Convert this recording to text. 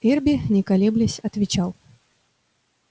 эрби не колеблясь отвечал